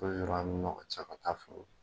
O de bɛ ani ɲɔngɔn ce, an ga taa foro.